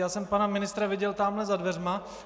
Já jsem pana ministra viděl tamhle za dveřmi.